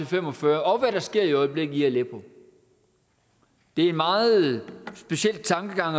fem og fyrre og hvad der sker i øjeblikket i aleppo det er en meget speciel tankegang